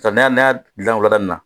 Sisan n'a dilan wulada in na